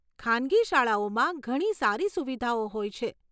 ખાનગી શાળાઓમાં ઘણી સારી સુવિધાઓ હોય છે.